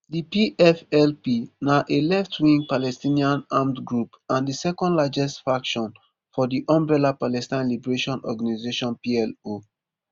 di pflp na a leftwing palestinian armed group and di second largest faction for di umbrella palestine liberation organisation plo